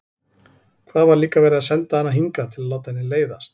Hvað var líka verið að senda hana hingað til að láta henni leiðast?